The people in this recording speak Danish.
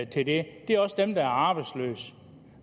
til det er jo også dem der er arbejdsløse